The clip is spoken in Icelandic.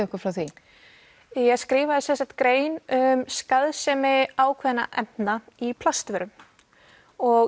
okkur frá því ég skrifaði sem sagt grein um skaðsemi ákveðinna efna í plastvörum og